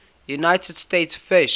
united states fish